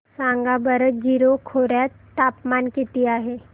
सांगा बरं जीरो खोर्यात तापमान किती आहे